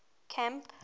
camp